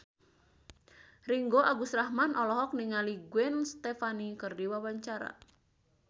Ringgo Agus Rahman olohok ningali Gwen Stefani keur diwawancara